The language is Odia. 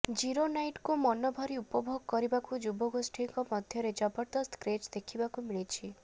ଜିରୋନାଇଟକୁ ମନଭରି ଉପଭୋଗ କରିବାକୁ ଯୁବଗୋଷ୍ଠୀଙ୍କ ମଧ୍ୟରେ ଜବରଦସ୍ତ କ୍ରେଜ ଦେଖିବାକୁ ମିଳୁଛି